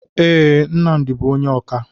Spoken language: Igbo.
Ee, Nnamdi bụ onye ọkà.